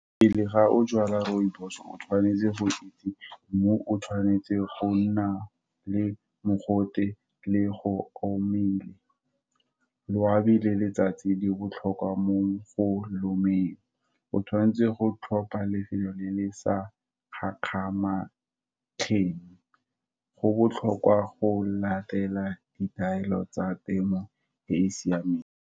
Pele ga o jwala rooibos-o, tshwanetse go itse mo o tshwanetse go nna le mogote le go o mmile, loabi le letsatsi di botlhokwa mo go o lomeng, o tshwanetse go tlhopha lefelo le le sa gakgamatsheng. Go botlhokwa go latela ditaelo tsa temo e e siameng.